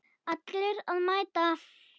Allir að mæta!